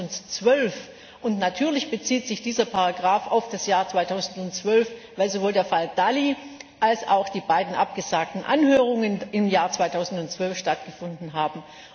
2012. Und natürlich bezieht sich diese Ziffer auf das Jahr 2012, weil sowohl der Fall Dalli als auch die beiden abgesagten Anhörungen im Jahr 2012 stattgefunden haben.